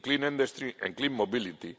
in clean industry and clean mobility